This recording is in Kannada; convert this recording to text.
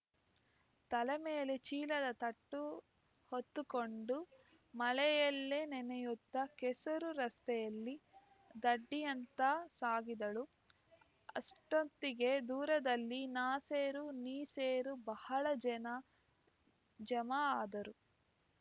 ತಲೆ ಮೇಲೆ ಚೀಲದ ತಟ್ಟು ಹೊದ್ದುಕೊಂಡು ಮಳೆಯಲ್ಲೇ ನೆನೆಯುತ್ತಾ ಕೆಸರು ರಸ್ತೆಯಲ್ಲಿ ದಡ್ಡಿಯತ್ತ ಸಾಗಿದಳುಅಷ್ಟೊತ್ತಿಗೆ ದೂರದಲ್ಲಿ ನಾ ಸೇರು ನೀ ಸೇರು ಬಹಳ ಜನ ಜಮಾ ಆದರು